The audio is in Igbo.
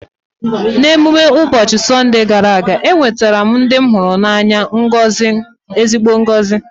N’ime emume ụbọchị Sọnde gara aga, ewetara ndị m hụrụ n’anya ezigbo ngozi.